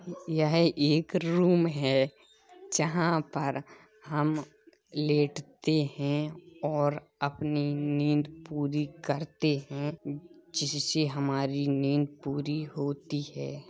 यह एक रूम है जहाँ पर हम लेटते हैं और अपनी नींद पूरी करते हैं जिससे हमारी नींद पूरी होती है।